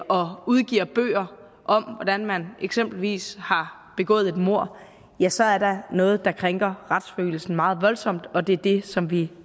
og udgiver bøger om hvordan man eksempelvis har begået et mord ja så er der noget der krænker retsfølelsen meget voldsomt og det er det som vi